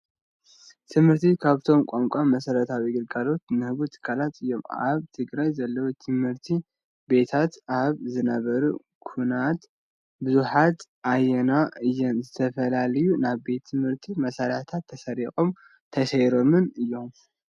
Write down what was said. ትምህርቲ ካብቶም ቀንቂ መሰረታዊ ግልጋሎት ዝህቡ ትካላት እዩ። ኣበ ትግራይ ዘለዋ ትምህርቲቤታት ኣብ ዝነበረ ኩናት ብዙሓትዓንየን እየን ዝተፈላለዩ ናይ ትምህርቲ መሳርሒታት ተሰሪቆምን ተሰይሮምን እዩ።